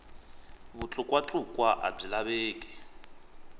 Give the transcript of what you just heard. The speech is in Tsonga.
vutlukwa tlukwa a byi laveki